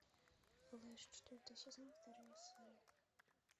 флэш четвертый сезон вторая серия